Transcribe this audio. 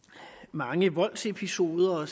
mange voldsepisoder